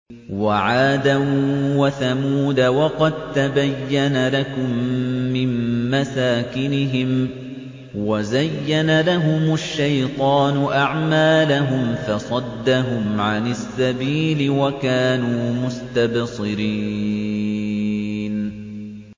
وَعَادًا وَثَمُودَ وَقَد تَّبَيَّنَ لَكُم مِّن مَّسَاكِنِهِمْ ۖ وَزَيَّنَ لَهُمُ الشَّيْطَانُ أَعْمَالَهُمْ فَصَدَّهُمْ عَنِ السَّبِيلِ وَكَانُوا مُسْتَبْصِرِينَ